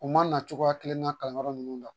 U ma na cogoya kelen na kalanyɔrɔ ninnu na